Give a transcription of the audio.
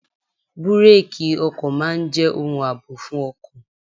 Búrákì ọkọ̀ máa ń jẹ́ ohun àbò fún ọkọ̀.